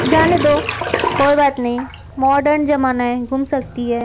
जाने दो कोई बात नहीं मॉडर्न जमाना है घूम सकती है।